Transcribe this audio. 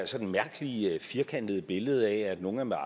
sådan mærkelige firkantede billede at nogle er med